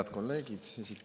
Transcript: Head kolleegid!